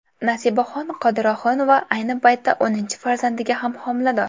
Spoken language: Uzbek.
Nasibaxon Qodirohunova ayni paytda o‘ninchi farzandiga ham homilador.